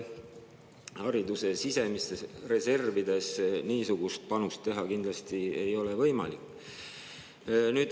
Hariduse sisemistest reservidest niisugust panust ei ole kindlasti võimalik teha.